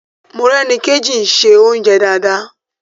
Morẹ́nikéjì ń se oúnjẹ dáadáa